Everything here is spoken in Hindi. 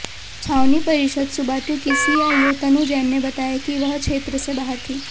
छावनी परिषद सुबाथू की सीईओ तनु जैन ने बताया कि वह क्षेत्र से बाहर थी